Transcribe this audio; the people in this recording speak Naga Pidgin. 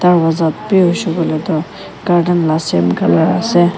Dworja bhi hoishe koile tuh garden la same ase.